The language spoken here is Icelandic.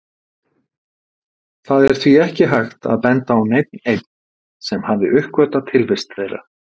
Það er því ekki hægt að benda á neinn einn sem hafi uppgötvað tilvist þeirra.